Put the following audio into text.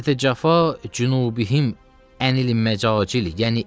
Təti cəfahi Cüubihim ənil məcacil.